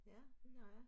Ja det har jeg